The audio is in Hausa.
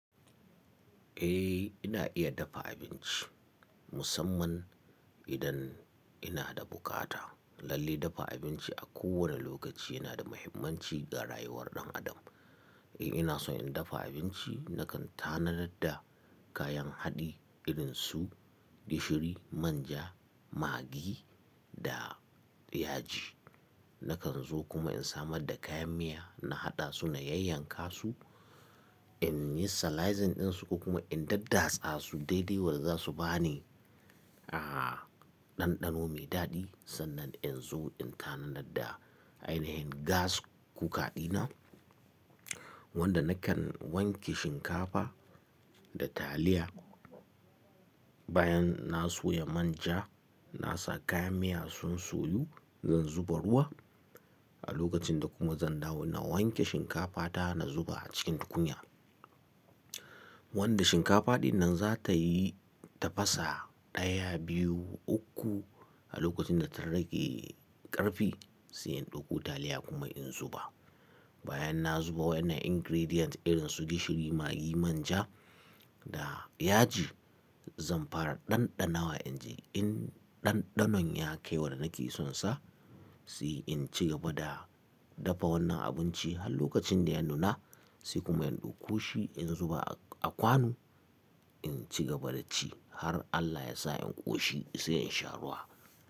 Eh ina iya dafa abinci musamman idan ina da bukata. Lalle dafa abinci a kowane lokaci yana da muhimmanci ga rayuwar ɗan adam. Eh in ina so in dafa abinci nakan tanadar da kayan haɗi irin su gishiri, man ja, magi da yaji. Nakan zo kuma in samar da kayan miya na haɗa su na yayyanka su, in yi salizing ɗin su kuma in daddatsa su dai dai waza su ba ni, aah, ɗanɗano mai daɗi. Sannan in zo in tanadar da ainihin gas cooker ɗina wanda nakan wanke shinkafa da taliya. Bayan na soya man ja, na sa kayan miya sun soyu zan zuba ruwa a lokacin da kuma zan dawo na wanke shinkafa ta na zuba a cikin tukunya. Wanda shinkafa dinnan za ta yi tafasa ɗaya, biyu, uku a lokacin da ta rage ƙarfi sai in ɗauko taliya kuma in zuba. Bayan na zuba wannan ingredient irin su gishiri, magi, man ja da yaji zan fara ɗanɗanawa in ji in ɗanɗanon ya kai wanda nake sonsa, sai in ci gaba da dafa wannan abinci har lokacin da ya nuna sai kuma in ɗauko shi in zuba a kwano. In ci gaba da ci har Allah ya sa in ƙoshi sai in sha ruwa.